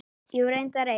Jú, reyndar eitt.